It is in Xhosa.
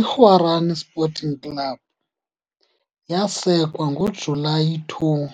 IGuarany Sporting Club yasekwa ngoJulayi 2,